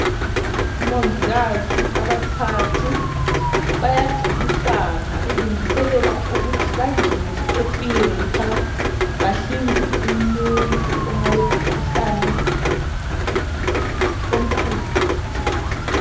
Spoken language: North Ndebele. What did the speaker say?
Omongikazi abathathu bayagqokisana belungiselela ukuthi bangene e theatre bahlinze umuntu ongaba elomkhuhlane omkhulu.